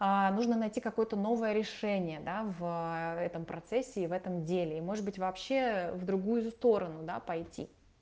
нужно найти какое-то новое решение да в этом процессе и в этом деле может быть вообще в другую сторону да пойти